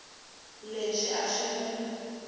lexi a xi n wi